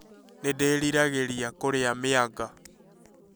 Nĩ ndĩriragĩria kũrĩa mianga